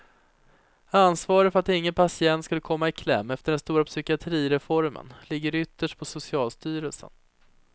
Ansvaret för att ingen patient skulle komma i kläm efter den stora psykiatrireformen ligger ytterst på socialstyrelsen.